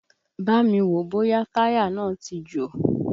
Bámi wòó bóyá táyà náà ti jò!